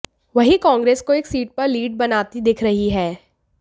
वहीं कांग्रेस को एक सीट पर लीड बनाती दिख रही है